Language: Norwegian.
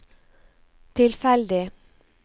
tilfeldig